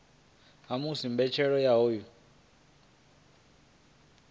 ha musi mbetshelo ya hoyu